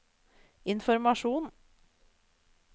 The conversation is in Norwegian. informasjon